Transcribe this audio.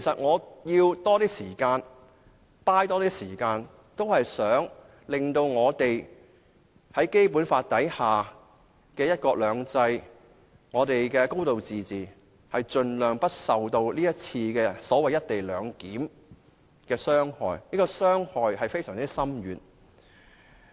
我想爭取多些時間，令《基本法》下的"一國兩制"、"高度自治"，盡量不受這次"一地兩檢"的安排傷害，這種傷害非常深遠。